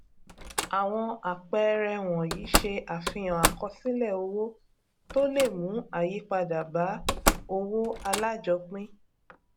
àwọn àpẹẹrẹ wọnyí ṣe àfihàn àkọsílẹ owó tó le mú ayípadà bá owó alájọpín